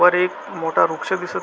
वर एक मोठा वृक्ष दिसत--